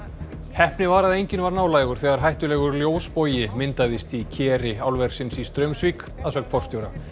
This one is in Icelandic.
heppni var að enginn var nálægur þegar hættulegur myndaðist í keri álversins í Straumsvík að sögn forstjóra